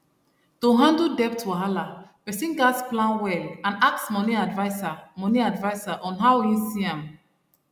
to handle debt wahala person gas plan well and ask money adviser money adviser on how him see am